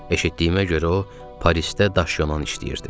Eşitdiyimə görə o, Parisdə daş yolan işləyirdi.